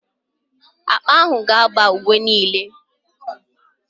Akpa ahụ ga-aba uwe m niile.